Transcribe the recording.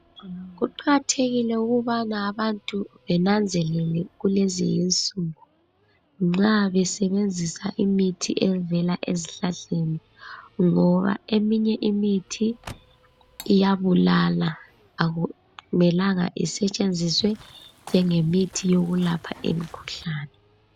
Kuqakathekile ukubana abantu benanzelele kulezinsuku nxa besebenzisa imithi evela ezihlahleni ngoba eminye imithi iyabulala akumelanga isetshenzuswe njenge mithi yokulapha imkhuhlane.